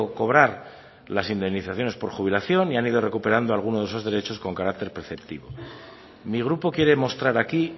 cobrar las indemnizaciones por jubilación y han ido recuperando alguno de esos derechos con carácter preceptivo mi grupo quiere mostrar aquí